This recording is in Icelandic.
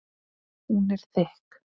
Hún er þykk.